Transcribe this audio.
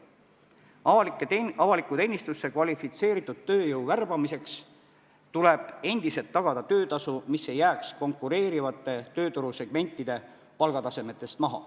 Avalikku teenistusse kvalifitseeritud tööjõu värbamiseks tuleb endiselt tagada töötasu, mis ei jääks konkureerivate tööturusegmentide palgatasemetest maha.